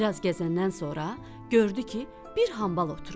Bir az gəzəndən sonra gördü ki, bir hambal oturub.